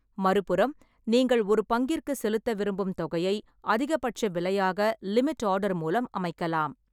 மறுபுறம், நீங்கள் ஒரு பங்கிற்குச் செலுத்த விரும்பும் தொகையை அதிகபட்ச விலையாக லிமிட் ஆர்டர் மூலம் அமைக்கலாம்.